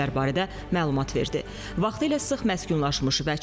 Geniş miqyaslı abadlıq quruculuq və yaşıllıq işləri həyata keçiriləcək.